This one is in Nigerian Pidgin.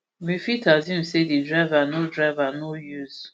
we fit assume say di driver no driver no use